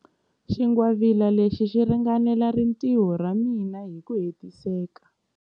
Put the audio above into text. Xingwavila lexi xi ringanela rintiho ra mina hi ku hetiseka.